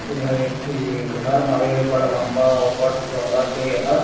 यही एक ठी घर हावे बड़ लम्बा अउ बड़ चौड़ा के ह--